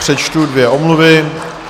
Přečtu dvě omluvy.